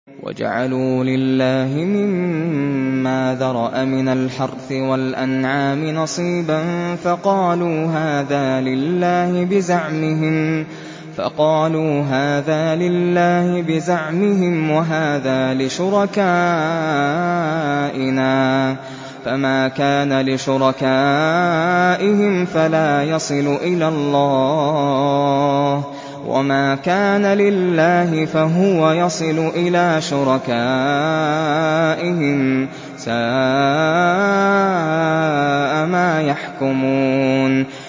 وَجَعَلُوا لِلَّهِ مِمَّا ذَرَأَ مِنَ الْحَرْثِ وَالْأَنْعَامِ نَصِيبًا فَقَالُوا هَٰذَا لِلَّهِ بِزَعْمِهِمْ وَهَٰذَا لِشُرَكَائِنَا ۖ فَمَا كَانَ لِشُرَكَائِهِمْ فَلَا يَصِلُ إِلَى اللَّهِ ۖ وَمَا كَانَ لِلَّهِ فَهُوَ يَصِلُ إِلَىٰ شُرَكَائِهِمْ ۗ سَاءَ مَا يَحْكُمُونَ